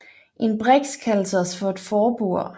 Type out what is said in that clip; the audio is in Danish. En briks kaldes også for et forbord